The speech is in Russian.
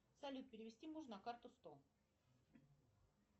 салют перевести мужу на карту сто